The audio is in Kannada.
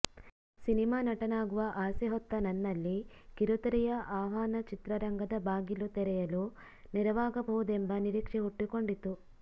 ಸಿನಿಮಾ ನಟನಾಗುವ ಆಸೆ ಹೊತ್ತ ನನ್ನಲ್ಲಿ ಕಿರುತೆರೆಯ ಆಹ್ವಾನ ಚಿತ್ರರಂಗದ ಬಾಗಿಲು ತೆರೆಯಲು ನೆರವಾಗಬಹುದೆಂಬ ನಿರೀಕ್ಷೆ ಹುಟ್ಟಿಕೊಂಡಿತು